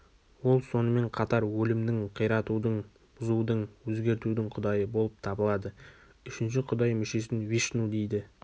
ол сонымен қатар өлімнің қиратудың бұзудың өзгертудің құдайы болып табылады үшінші құдай мүшесін вишну дейді